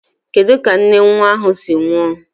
Kedu ka nne nwa ahụ si nwụọ?